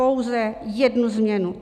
Pouze jednu změnu.